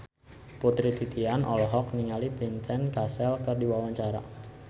Putri Titian olohok ningali Vincent Cassel keur diwawancara